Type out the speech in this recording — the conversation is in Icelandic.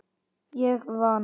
Ég vann.